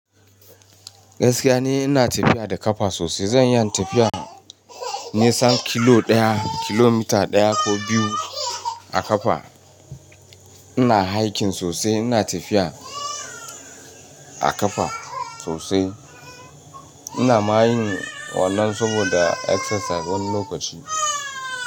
Gaskiya ni ina tafiya da ƙafa sosai. Zan iyi tafiyan nisan kilo ɗaya, kilomita ɗaya ko biyu a ƙafa. Ina hiking sosai, ina tafiya a ƙafa sosai. Ina ma yin wannan saboda exercise wani lokaci.